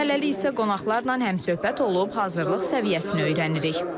Hələlik isə qonaqlarla həmsöhbət olub hazırlıq səviyyəsini öyrənirik.